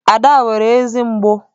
Ada nwere eze mgbụ.